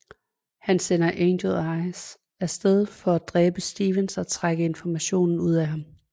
Han sender Angel Eyes af sted for at dræbe Stevens og trække information ud af ham